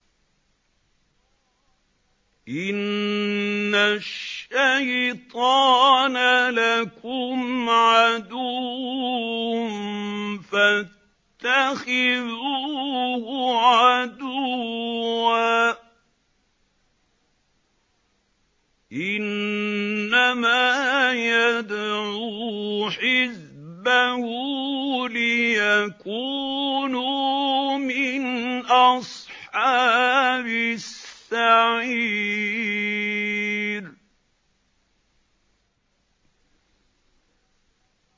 إِنَّ الشَّيْطَانَ لَكُمْ عَدُوٌّ فَاتَّخِذُوهُ عَدُوًّا ۚ إِنَّمَا يَدْعُو حِزْبَهُ لِيَكُونُوا مِنْ أَصْحَابِ السَّعِيرِ